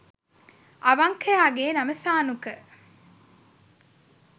අවංකයාගේ නම සානුක